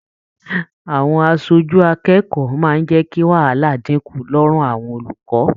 Àwọn aṣojú akẹ́kọ̀ọ́ máa n jẹ kí wàhálà dínkù lọrùn àwọn olùkọ.